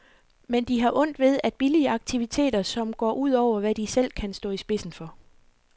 Men de har ondt ved at billige aktiviteter, som går ud over, hvad de selv kan stå i spidsen for.